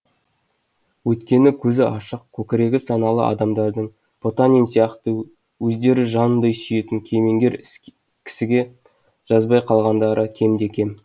өйткені көзі ашық көкірегі саналы адамдардың потанин сияқты өздері жанындай сүйетін кемеңгер кісіге жазбай қалғандары кемде кем